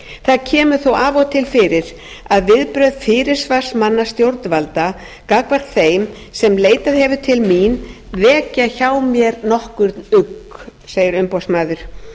það kemur þó af og til fyrir að viðbrögð fyrirsvarsmanna stjórnvalda gagnvart þeim sem leitað hefur til mín vekja hjá mér nokkurn ugg segir umboðsmaður